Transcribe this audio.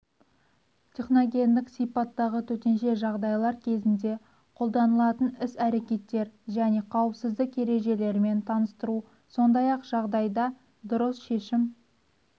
техногендік сипаттағы төтенше жағдайлар кезінде қолданылатын іс-әркеттер және қауіпсіздік ережелерімен таныстыру сондай-ақ жағдайда дұрыс шешім